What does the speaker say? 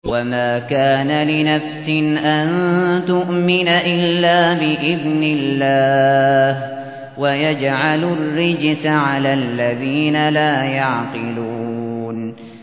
وَمَا كَانَ لِنَفْسٍ أَن تُؤْمِنَ إِلَّا بِإِذْنِ اللَّهِ ۚ وَيَجْعَلُ الرِّجْسَ عَلَى الَّذِينَ لَا يَعْقِلُونَ